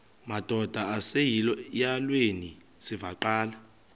madod asesihialweni sivaqal